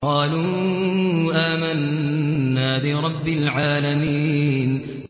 قَالُوا آمَنَّا بِرَبِّ الْعَالَمِينَ